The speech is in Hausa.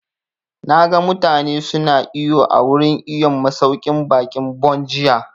Na ga mutane su na iwo a wurin iwon masauƙin baƙin Bon jiya